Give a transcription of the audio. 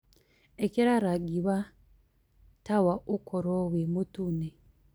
ĩkĩra rangĩ wa tawaũkorwo wi mũtũne